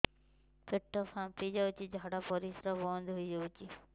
ପେଟ ଫାମ୍ପି ଯାଇଛି ଝାଡ଼ା ପରିସ୍ରା ବନ୍ଦ ହେଇଯାଇଛି